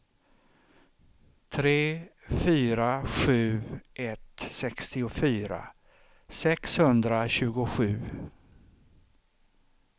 tre fyra sju ett sextiofyra sexhundratjugosju